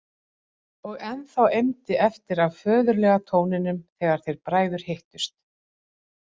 Og ennþá eimdi eftir af föðurlega tóninum þegar þeir bræður hittust.